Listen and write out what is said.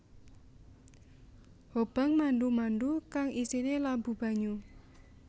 Hobang mandu mandu kang isine labu banyu